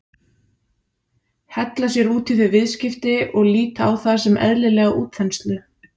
Hella sér út í þau viðskipti og líta á það sem eðlilega útþenslu?